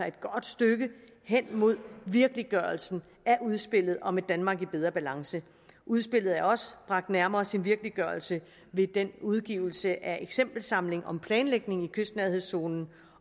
et godt stykke hen mod virkeliggørelsen af udspillet om et danmark i bedre balance udspillet er også bragt nærmere sin virkeliggørelse ved udgivelsen af eksempelsamlingen om planlægningen i kystnærhedszonen